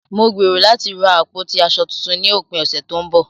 Mo gbèrò láti ra àpótí aṣọ tuntun ní òpin ọ̀sẹ̀ tó ń bọ̀.